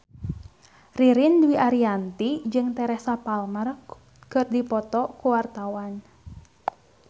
Ririn Dwi Ariyanti jeung Teresa Palmer keur dipoto ku wartawan